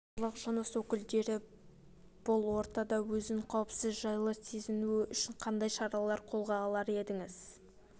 барлық жыныс өкілдері бұл ортада өзін қауіпсіз жайлы сезінуі үшін қандай шараларды қолға алар едіңіз